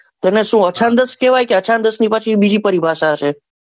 તેને શું અછંદ જ કેવાય કે અછાંદસ ની બીજી પરિભાષા છે?